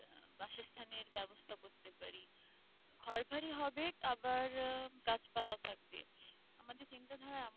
ঘরবাড়ি হবে আবার গাছপালাও থাকবে। আমাদের চিন্তাধারা